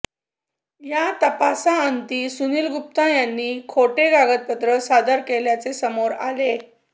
या तपासाअंती सुनिल गुप्ता यांनी खोटे कागदपत्र सादर केल्याचे समोर आले